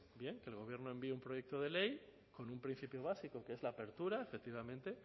que el gobierno envíe un proyecto de ley con un principio básico que es la apertura efectivamente